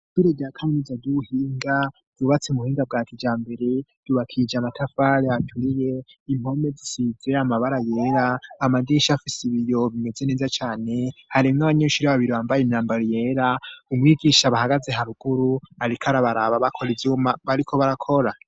Idure rya kaminuza duhinga dubatse umuhinga bwa kija mbere dubakije amatafare aturiye impome zisizera amabara yera amaginsha afise ibiyo bimeze neza cane harimwo abanyenshuri ababiri bambaye imyambaro yera umwigisha bahagaze haruguru arik ara baraba bakora ivyuma bariko barakora.